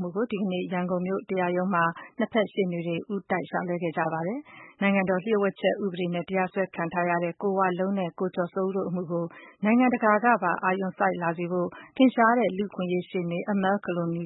မှုကို ဒီကနေ့ ရန်ကုန်မြို့က တရားရုံးမှာ ဆက်လက်စစ်ဆေးရာမှာ ၂ ဘက် ရှေ့နေတွေ ဦးတိုက်လျှောက်လဲခဲ့ကြပါတယ်။ နိုင်ငံတော်လျို့ဝှက်ချက် ဥပဒေနဲ့ တရားစွဲခံထားရတဲ့ ကိုဝလုံးနဲ့ ကိုကျော်စိုးဦးတို့ အမှုကိုတော့ နိုင်ငံတကာကပါ အာရုံစိုက်လာစေဖို့ ထင်ရှားတဲ့ လူ့အခွင့်အရေးရှေ့နေ Amal Clooney